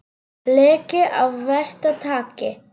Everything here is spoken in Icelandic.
Leki af versta tagi